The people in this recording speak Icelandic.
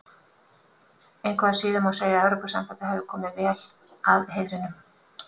Engu að síður má segja að Evrópusambandið hafi verið vel að heiðrinum komið.